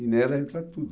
E nela entra tudo.